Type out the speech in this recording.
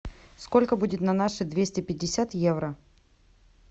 сколько будет на наши двести пятьдесят евро